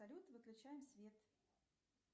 салют выключаем свет